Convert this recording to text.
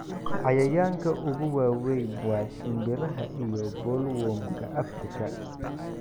Cayayaanka ugu waaweyn waa shimbiraha iyo bollworm-ka Afrika.